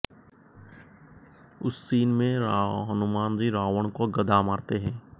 उस सीन में हनुमान जी रावण को गदा मारते हैं